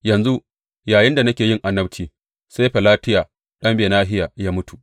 Yanzu yayinda nake yin annabci, sai Felatiya ɗan Benahiya ya mutu.